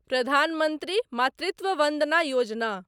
प्रधान मंत्री मातृत्व वन्दना योजना